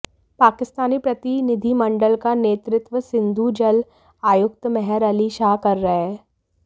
पाकिस्तानी प्रतिनिधिमंडल का नेतृत्व सिंधु जल आयुक्त मेहर अली शाह कर रहे हैं